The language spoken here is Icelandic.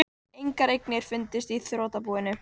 Engar eignir fundust í þrotabúinu